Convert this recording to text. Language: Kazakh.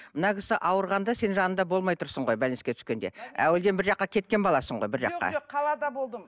мына кісі ауырғанда сен жанында болмай тұрсың ғой түскенде әуелден бір жаққа кеткен баласың ғой бір жаққа жоқ жоқ қалада болдым